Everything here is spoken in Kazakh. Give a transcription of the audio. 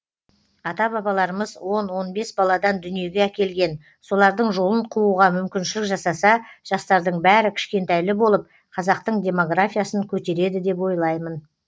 ата бабаларымыз он он бес баладан дүниеге әкелген солардың жолын қууға мүмкіншілік жасаса жастардың бәрі кішкентайлы болып қазақтың демографиясын көтереді деп ойлаймын